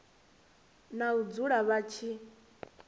na u dzula vha tshi